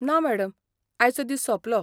ना मॅडम, आयचो दीस सोंपलो.